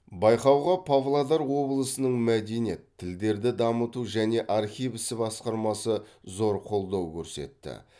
байқауға павлодар облысының мәдениет тілдерді дамыту және архив ісі басқармасы зор қолдау көрсетті